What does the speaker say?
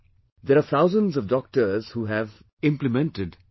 There are thousands of doctors who have implemented what I said